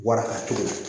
Warakatogo